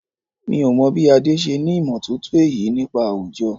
Mi ò mọ̀ bí Adé ṣe ní ìmọ̀ tótó èyí nípa àwùjọ.